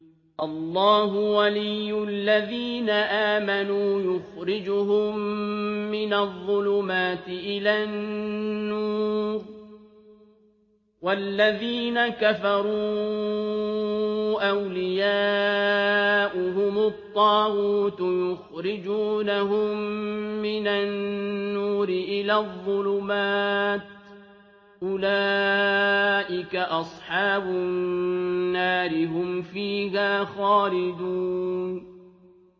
اللَّهُ وَلِيُّ الَّذِينَ آمَنُوا يُخْرِجُهُم مِّنَ الظُّلُمَاتِ إِلَى النُّورِ ۖ وَالَّذِينَ كَفَرُوا أَوْلِيَاؤُهُمُ الطَّاغُوتُ يُخْرِجُونَهُم مِّنَ النُّورِ إِلَى الظُّلُمَاتِ ۗ أُولَٰئِكَ أَصْحَابُ النَّارِ ۖ هُمْ فِيهَا خَالِدُونَ